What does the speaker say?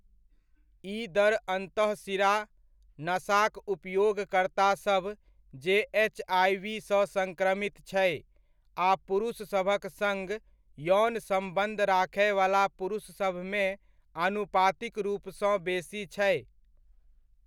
ई दर अन्तःशिरा नशाक उपयोगकर्तासभ, जे एचआइवी सँ सँक्रमित छै, आ पुरुषसभक सङ्ग यौन सम्बन्ध राखयवला पुरुषसभमे आनुपातिक रूपसँ बेसी छै।